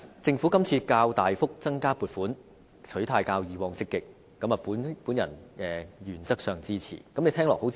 政府今次較大幅增加撥款，取態較以往積極，我原則上支持。